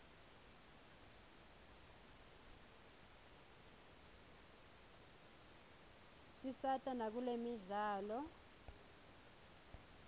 tisata nakutemidlalo